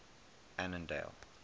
annandale